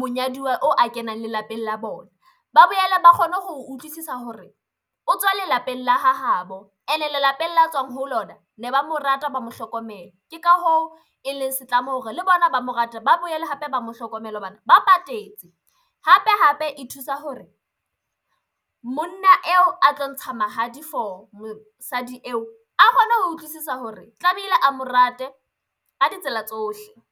monyaduwa o a kenang lelapeng la bona. Ba boela ba kgone ho utlwisisa hore o tswa lelapeng la hahabo ene lelapeng la tswang ho lona ne ba mo rata, ba mo hlokomela ke ka hoo e leng se tlamo hore le bona ba mo rate, ba boele hape ba mo hlokomele hobane ba patetse hape hape e thusa hore monna eo a tlo ntsha mahadi for mosadi eo a kgone ho utlwisisa hore tlamehile a mo rate ka ditsela tsohle.